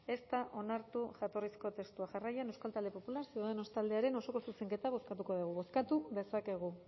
ez da onartu jatorrizko testua jarraian euskal talde popular ciudadanos taldearen osoko zuzenketa bozkatuko dugu bozkatu dezakegu